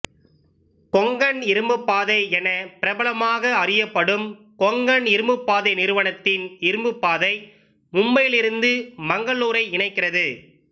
கொங்கண் இருப்புப்பாதை என பிரபலமாக அறியப்படும் கொங்கண் இருப்புப்பாதை நிறுவனத்தின் இருப்புப்பாதை மும்பையிலிருந்து மங்களூரை இணைக்கிறது